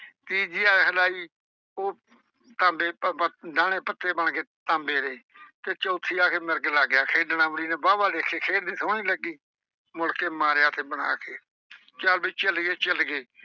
ਤੀਜੀ ਵਾਰ ਹਿਲਾਈ ਉਹ ਤਾਂਬੇ ਅਹ ਡਾਹਣੇ ਪੱਤੇ ਬਣ ਗਏ ਤਾਂਬੇ ਦੇ ਤੇ ਚੌਥੀ ਵਾਰ ਆ ਕੇ ਮਿਰਗ ਲੱਗ ਗਿਆ ਖੇਡਣ। ਅਮਲੀ ਨੇ ਵਾਹ ਵਾਹ ਦੇਖੇ ਖੇਡਦੀ ਸੋਹਣੀ ਲੱਗੀ। ਮੁੜ ਕੇ ਮਾਰਿਆ ਫਿਰ ਬਣਾ ਕੇ, ਚੱਲ ਬਈ ਚੱਲੀਏ ਚੱਲੀਏ।